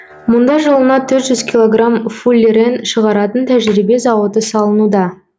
мұнда жылына төрт жүз килограмм фуллерен шығаратын тәжірибе зауыты салынуда